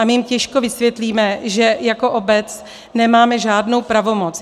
A my jim těžko vysvětlíme, že jako obec nemáme žádnou pravomoc.